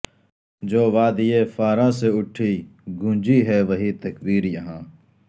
جو وادئ فاراں سے اٹھی گونجی ہے وہی تکبیر یہاں